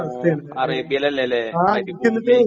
ഓ അറേബ്യയിലല്ലലേ മരുഭൂമി.